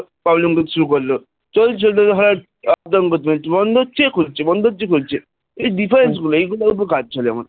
Problem করতে শুরু করল চলতে চলতে হয় বন্ধ হচ্ছে খুলছে বন্ধ হচ্ছে খুলছে এই গুলো difference এই গুলোর উপর কাজ চলে আমার